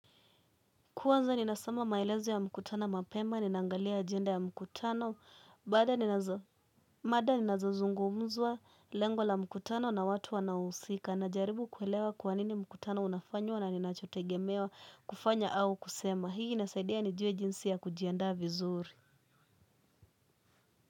Kwanza ninasoma maelezo ya mkutano mapema, ninaangalia ajenda ya mkutano, mada zinazozungumzwa lengo la mkutano na watu wanaohusika, najaribu kuelewa kwa nini mkutano unafanywa na ninachotegemewa kufanya au kusema. Hii inanisaidia nijue jinsi ya kujiandaa vizuri.